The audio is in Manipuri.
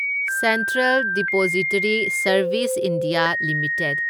central depository service India limited